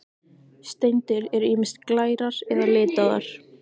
Steindir eru ýmist glærar eða litaðar.